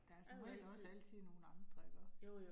Der er som regel også altid nogle andre iggå